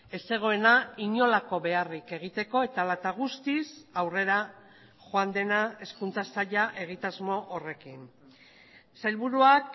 ez zegoena inolako beharrik egiteko eta hala eta guztiz aurrera joan dena hezkuntza saila egitasmo horrekin sailburuak